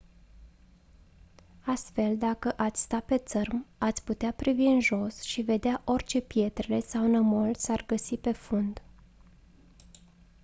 astfel dacă ați sta pe țărm ați putea privi în jos și vedea orice pietrele sau nămol s-ar găsi pe fund